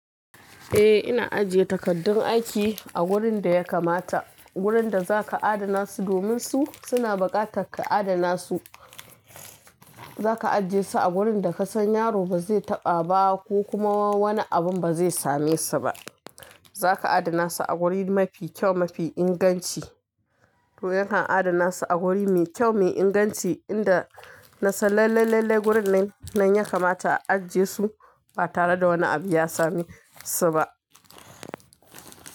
Eh, ina ajiye takardun aiki a gurin da ya kamata. Wurin da za ka adana su domin su suna buƙatar ka adana su. Za ka ajiye su a wurin da ka san yaro ba zai taɓa ba ko kuma wani abun ba zai same su ba. Za ka adana su a wuri mafi kyau, mafi inganci. To yana adana su a wuri mai kyau, mai inganci inda na san lailai lallai wurin nan ya kamata a ajiye su ba tare da wani abu ya same su ba.